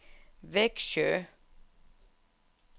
Växjö